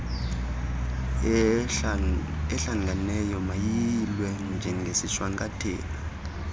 ehlanganeyo mayiyilwe njengesishwankathelo